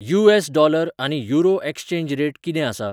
US. Dollar आनी euro exchange rate कितें आसा?